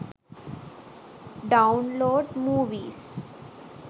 download movies